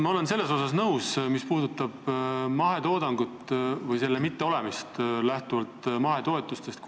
Ma olen sellega nõus, mis puudutab mahetoodangu mittesõltumist mahetoetustest.